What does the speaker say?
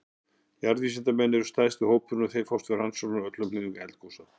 Jarðvísindamenn eru stærsti hópurinn og þeir fást við rannsóknir á öllum hliðum eldgosa.